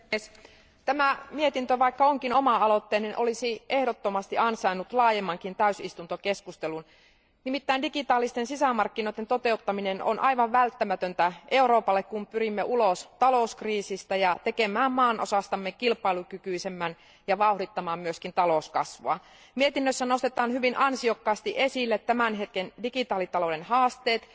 Arvoisa puhemies, vaikka tämä mietintö onkin valiokunta aloitteinen, se olisi ehdottomasti ansainnut laajemmankin täysistuntokeskustelun. Nimittäin digitaalisten sisämarkkinoiden toteuttaminen on aivan välttämätöntä Euroopalle, kun pyrimme ulos talouskriisistä ja tekemään maanosastamme kilpailukykyisemmän ja vauhdittamaan myös talouskasvua. Mietinnössä nostetaan hyvin ansiokkaasti esille tämän hetken digitaalitalouden haasteet.